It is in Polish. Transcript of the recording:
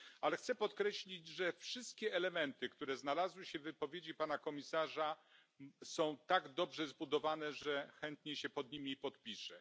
Ale chcę podkreślić, że wszystkie elementy, które znalazły się w wypowiedzi Pana Komisarza, są tak dobrze zbudowane, że chętnie się pod nimi podpiszę.